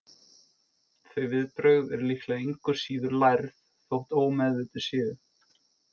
Þau viðbrögð eru líklega engu síður lærð, þótt ómeðvituð séu.